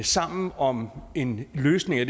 sammen om en løsning af